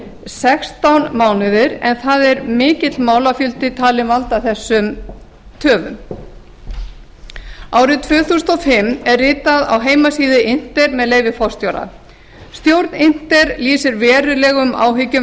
sextán mánuðir en þar er mikill málafjöldi talinn valda þessum töfum árið tvö þúsund og fimm er ritað á heimasíðu inter með leyfi forseta stjórn inter lýsir verulegum áhyggjum